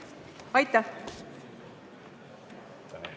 Aitäh!